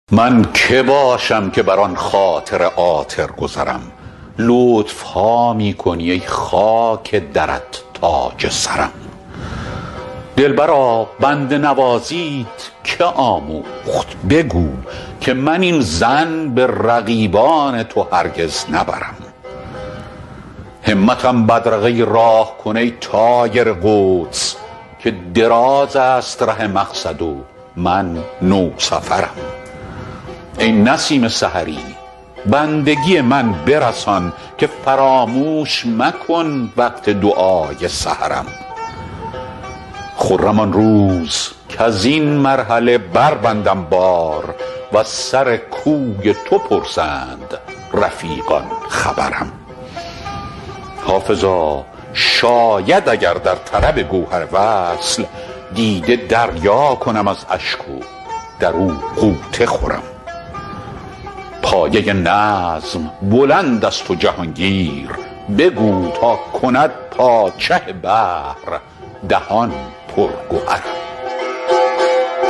من که باشم که بر آن خاطر عاطر گذرم لطف ها می کنی ای خاک درت تاج سرم دلبرا بنده نوازیت که آموخت بگو که من این ظن به رقیبان تو هرگز نبرم همتم بدرقه راه کن ای طایر قدس که دراز است ره مقصد و من نوسفرم ای نسیم سحری بندگی من برسان که فراموش مکن وقت دعای سحرم خرم آن روز کز این مرحله بربندم بار و از سر کوی تو پرسند رفیقان خبرم حافظا شاید اگر در طلب گوهر وصل دیده دریا کنم از اشک و در او غوطه خورم پایه نظم بلند است و جهان گیر بگو تا کند پادشه بحر دهان پر گهرم